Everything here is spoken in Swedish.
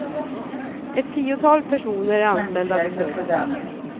Ett tiotal personer är anställda vid företaget.